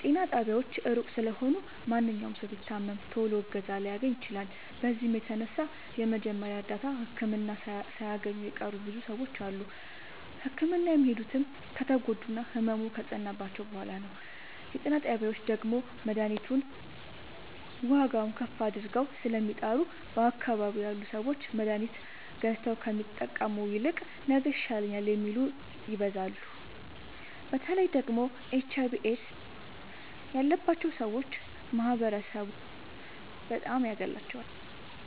ጤና ጣቢያዎች እሩቅ ስለሆኑ ማንኛዉም ሠዉ ቢታመም ቶሎ እገዛ ላያገኝ ይችላል። በዚህም የተነሣ የመጀመሪያ እርዳታ ህክምና ሣያገኙ የቀሩ ብዙ ሰዎች አሉ። ህክምና የሚሄዱትም ከተጎዱና ህመሙ ከፀናባቸዉ በሗላ ነዉ። የጤና ጣቢያዎች ደግሞ መድሀኒቱን ዋጋዉን ከፍ አድርገዉ ስለሚጠሩ በአካባቢዉ ያሉ ሠዎች መድሀኒት ገዝተዉ ከሚጠቀሙ ይልቅ ነገ ይሻለኛል የሚሉት ይበዛሉ። በተለይ ደግሞ ኤች አይቪ ኤድስ ያባቸዉ ሠዎች ማህበረሡ በጣም ያገላቸዋል።